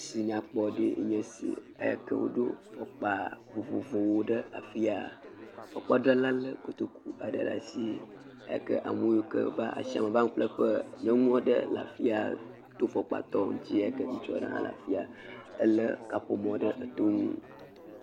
Si nyakpɔ aɖe nye si eyi ke woɖo fɔkpa vovovowo ɖe afiaa. Fɔkpadzrala lé kotoku aɖe le asii eyi kea me yiwo ke va ashia me va ŋu ƒle ƒe. Nyɔnu aɖe le afia to fɔkpatɔ ŋtsi yi ke ŋutsu aɖe hã le afiaa, elé kaƒomɔ̃ ɖe etonu.